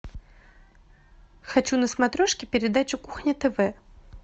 хочу на смотрешке передачу кухня тв